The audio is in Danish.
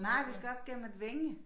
Nej vi skal op gennem et vænge